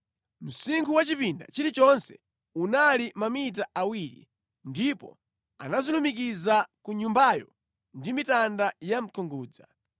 Msinkhu wa chipinda chilichonse unali mamita awiri, ndipo anazilumukiza ku Nyumbayo ndi mitanda yamkungudza.